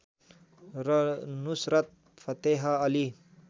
र नुसरत फतेह अली